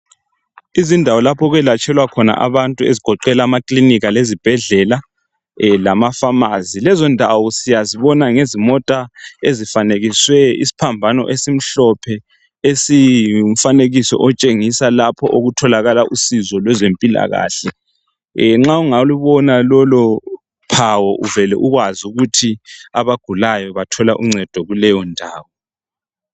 Izindawo lapho olwelatshwela khona abantu ezigoqela amakilinika lezibhedlela lamapharmacy lezindawo siyazibona ngezimota ezifanekiswe isiphambano esimhlophe esingumfanekiso otshengisa lapha okutholakala usizo lwezempilakahle nxa ungalubona lolo phawu uvele ukwazi ukuthi abagulayo bathola uncedo kuleyondawo.